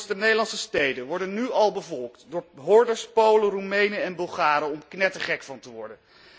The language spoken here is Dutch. De Nederlandse steden worden nu al bevolkt door hordes Polen, Roemenen en Bulgaren, om knettergek van te worden.